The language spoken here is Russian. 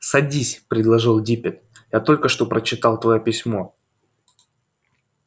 садись предложил диппет я только что прочитал твоё письмо